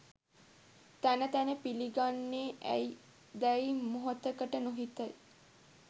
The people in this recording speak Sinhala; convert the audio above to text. තැන තැන පිලිගන්නේ ඇයි දැයි මොහොතකට නොහිතයි.